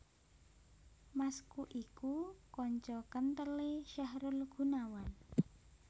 Masku iku kanca kenthel e Syahrul Gunawan